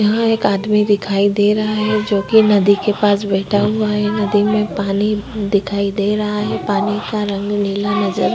यहां एक आदमी दिखाई दे रहा है जोकि नदी के पास बैठा हुआ है नदी में पानी दिखाई दे रहा है। पानी का रंग नीला नजर --